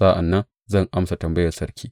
Sa’an nan zan amsa tambayar sarki.